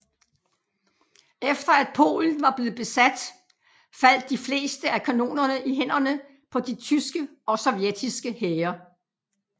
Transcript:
Efter at Polen var blevet besat faldt de fleste af kanonerne i hænderne på de tyske og sovjetiske hære